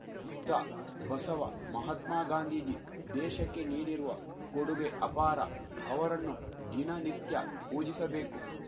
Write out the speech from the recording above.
ಬುದ್ಧ ಬಸವ ಮಾಹತ್ಮಗಾಂಧೀಜಿ ದೇಶಕ್ಕೆ ನೀಡಿರುವ ಕೊಡುಗೆ ಅಪಾರ ಅವರಣ್ಣು ದಿನನಿತ್ಯ ಪೂಜಿಸಬೇಕು